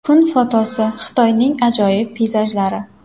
Kun fotosi: Xitoyning ajoyib peyzajlari.